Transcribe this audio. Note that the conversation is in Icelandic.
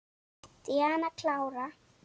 Díana klára.